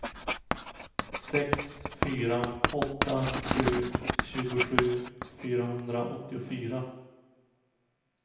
sex fyra åtta sju tjugosju fyrahundraåttiofyra